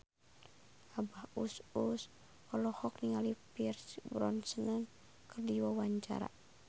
Abah Us Us olohok ningali Pierce Brosnan keur diwawancara